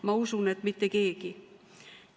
Ma usun, et mitte keegi.